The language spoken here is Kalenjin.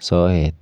soet